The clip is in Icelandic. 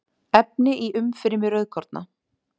efni í umfrymi rauðkorna